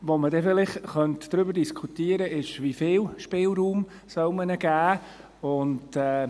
Worüber wir vielleicht diskutieren können, ist, wie viel Spielraum man ihnen geben soll.